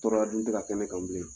Tɔrɔya dun tɛ ka kɛ ne kan bilen.